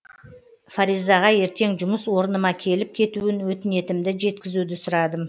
фаризаға ертең жұмыс орыныма келіп кетуін өтінетінімді жеткізуді сұрадым